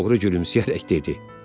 Oğru gülümsəyərək dedi.